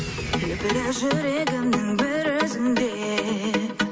лүпілі жүрегімнің бір өзіңде